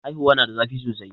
haihuwa na da zafi sosai